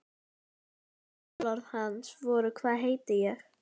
Önnur kjörorð hans voru Hvað veit ég?